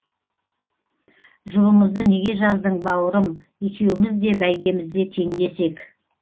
жұбымызды неге жаздың бауырым екеуміз де бәйгемізде теңдес ек